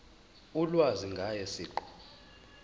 ulwazi ngaye siqu